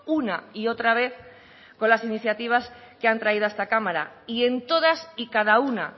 una y otra vez con las iniciativas que han traído a esta cámara y en todas y cada una